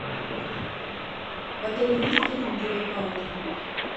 в отеле есть трекинговые палки